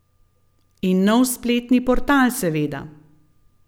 In nov spletni portal, seveda.